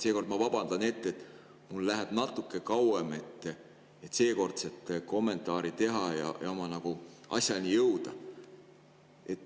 Seekord ma vabandan ette, et mul läheb natuke kauem, et seekordset kommentaari teha ja nagu asjani jõuda.